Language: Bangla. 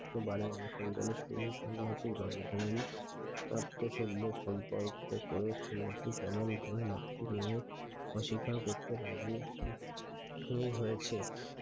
একটি বারো সন্ন্যাসীর গল্প এত্ত সুন্দর সম্পর্ক সন্ন্যাসীর চলন ভালো না অস্বীকার করতে রাজি হয়েছে I